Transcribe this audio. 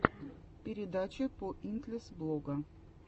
передача поинтлесс блога